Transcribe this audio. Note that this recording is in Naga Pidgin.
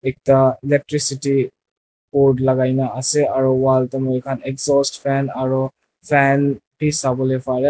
ekta electricity cord lagaina ase aru wall te moikhan exhaust fan aru fan bi sabo le pare.